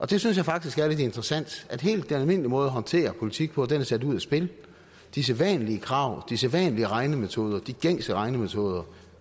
det synes jeg faktisk er lidt interessant at den helt almindelige måde at håndtere politik på er sat ud af spil de sædvanlige krav de sædvanlige regnemetoder de gængse regnemetoder